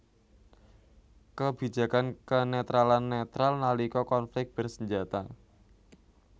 Kebijakan kenetralan netral nalika konflik bersenjata